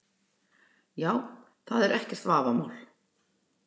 Já, það er ekkert vafamál.